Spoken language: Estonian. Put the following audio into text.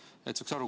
Tahaks saada aru.